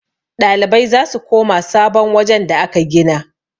ɗalibai za su koma sabon wajen da aka gina